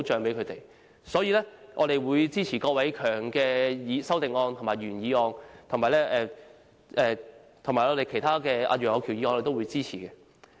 因此，我們會支持郭偉强議員的修正案和原議案，以及其他議員及楊岳橋議員的修正案。